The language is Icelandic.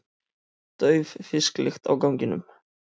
Dauf fisklykt á ganginum.